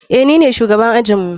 Eh, nine shugaban ajinmu.